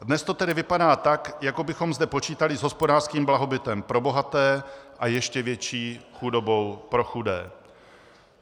Dnes to tedy vypadá tak, jako bychom zde počítali s hospodářským blahobytem pro bohaté a ještě větší chudobou pro chudé.